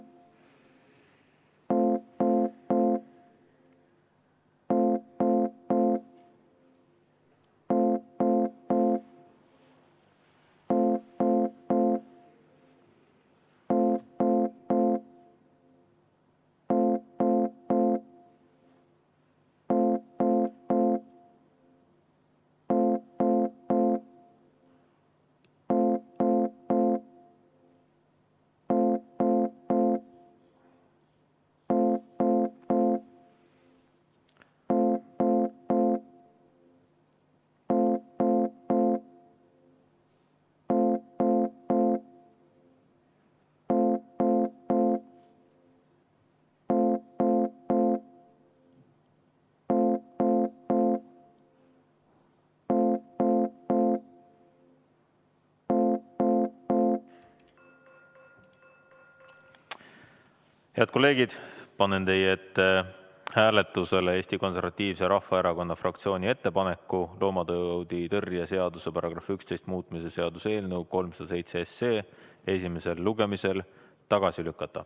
Head kolleegid, panen teie ette hääletusele Eesti Konservatiivse Rahvaerakonna fraktsiooni ettepaneku loomatauditõrje seaduse § 11 muutmise seaduse eelnõu 307 esimesel lugemisel tagasi lükata.